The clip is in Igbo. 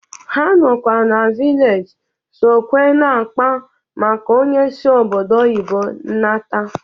Ha nọ na vilej sụkwé na-akpa maka onye si obodo oyibo nata